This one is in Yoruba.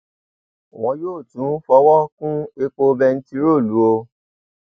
wọn yóò tún fọwọ kún epo bẹntiróòlù o